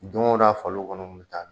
Do o do a faliw kɔnɔ bɛ taa